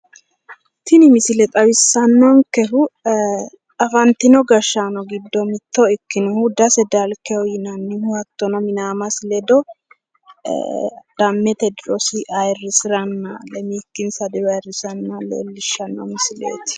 Tini misile xawissannonkehu afantino gashshaano giddi mitto ikkinohu dase dalkeha yinannihu hattono minaamasi ledo adhammensa diro lemiikki diro ayirsanni noota leellishshanno misileeti